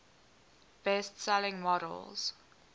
best selling models